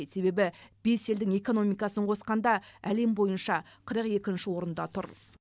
себебі бес елдің экономикасын қосқанда әлем бойынша қырық екінші орында тұр